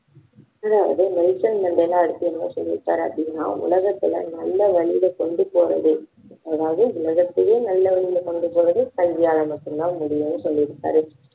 அதாவது Nelson Mandela அடுத்து என்ன சொல்லி இருக்கார் அப்படின்னா உலகத்தில நல்ல வழியில கொண்டு போறது அதாவது உலகத்தையே நல்ல வழியில கொண்டு போறது கல்வியால மட்டும் தான் முடியும்னு சொல்லி இருக்காரு